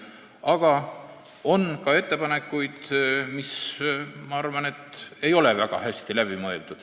Aga on ka ettepanekuid, mis, ma arvan, ei ole väga hästi läbi mõeldud.